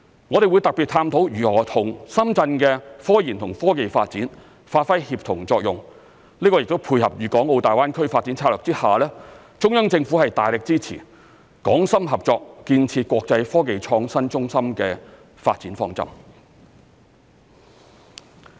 我們會特別探討如何與深圳的科研與科技發展發揮協同作用，這亦配合粵港澳大灣區發展策略下，中央政府大力支持港深合作建設國際科技創新中心的發展方針。